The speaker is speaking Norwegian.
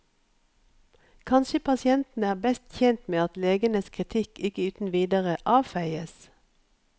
Kanskje pasientene er best tjent med at legenes kritikk ikke uten videre avfeies.